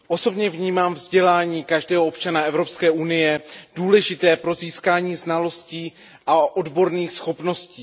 Osobně vnímám vzdělání každého občana Evropské unie jako důležité pro získání znalostí a odborných schopností.